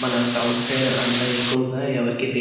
మన south side అంత ఎక్కువగా ఎవరికీ తెలి --